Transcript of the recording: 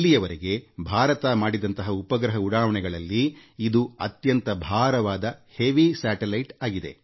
ಇಲ್ಲಿಯವರೆಗೆ ಭಾರತ ಉಡಾವಣೆ ಮಾಡಿದ ಉಪಗ್ರಹಗಳ ಪೈಕಿ ಇದು ಅತ್ಯಂತ ಭಾರವಾದ ಉಪಗ್ರಹವಾಗಿದೆ